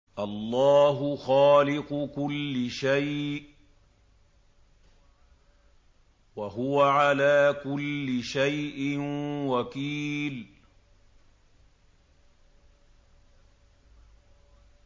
اللَّهُ خَالِقُ كُلِّ شَيْءٍ ۖ وَهُوَ عَلَىٰ كُلِّ شَيْءٍ وَكِيلٌ